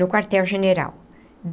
No Quartel General.